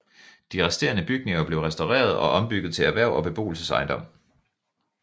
De resterende bygninger blev restaureret og ombygget til erhverv og beboelsesejendom